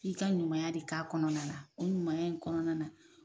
F'i ka ɲumanya de k'a kɔnɔna na o ɲumanya in kɔnɔna na